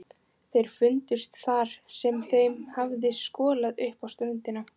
Þeir fundust þar sem þeim hafði skolað upp á ströndina.